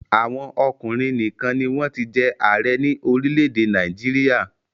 Àwọn ọkùnrin nìkan ni wọ́n ti jẹ́ ààrẹ ní orílẹ̀-èdè Nàìjíríà.